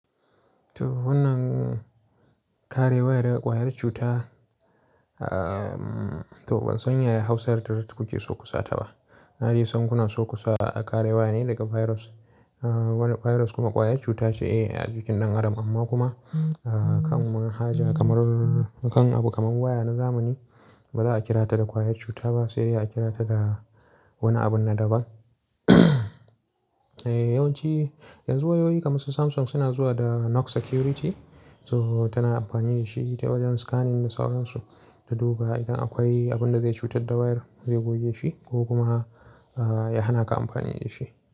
To wannan kare waya daga ƙwayar cuta, to ban san ya ya Hausa yarda da ku ke so kusa ta ba. Na de sankuna so kusa kare waya ne daga virus. Wani virus kuma ƙwayar cuta ce a jikin ɗan adam amma kuma a kan manhaja kamar, kan abu kamar waya na zamani ba za a kira ta da ƙwayar cuta ba sai dai a kira ta da wani abun na daban. Yawan ci yanzu wayoyi kamar su Samsung suna zuwa da Knox Security. To tana amfani da shi ta wajen scanning na sauransu ta duba idan akwai abin da zai cutar da wayar zai goge shi ko kuma ya hana ka amfani da shi.